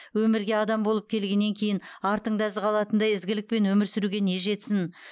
өмірге адам болып келгеннен кейін артыңда із қалатындай ізгілікпен өмір сүруге не жетсін